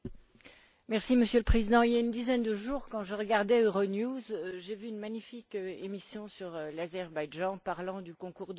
Monsieur le Président, il y a une dizaine de jours, quand je regardais Euronews, j'ai vu une magnifique émission sur l'Azerbaïdjan parlant du concours de l'Eurovision.